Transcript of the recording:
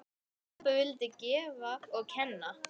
Pabbi vildi gefa og kenna.